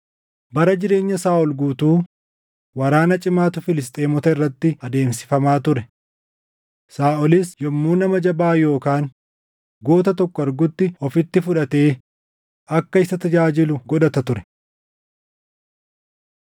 Bara jireenya Saaʼol guutuu waraana cimaatu Filisxeemota irratti adeemsifamaa ture; Saaʼolis yommuu nama jabaa yookaan goota tokko argutti ofitti fudhatee akka isa tajaajilu godhata ture.